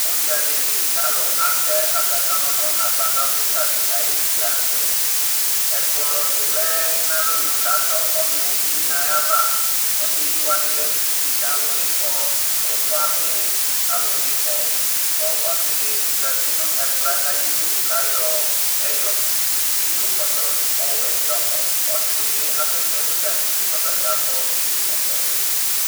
udza di li ku alu atɛ ata mi ɔnu nu agbadɔ kika di ayuti la nu tɛ, ɛkplɔ di lɛ nu alɔnu ku atɔ ɔnu yi nu ayi ava, ɔnu yi wʋani lɛ kusi ku atu nu ifɔ, ufa nu alu nu ifɔ, ku ɔsi di zati nu ɛkplɔɛ ayi du ku ayɔɛyɔ, iyo kɔtɔ wɛ yɔkɔ, ɔsi di bi asɛsɛ nu tantse ku ɔta bi akɔ iyo kɔtɔ yɛ ɛdi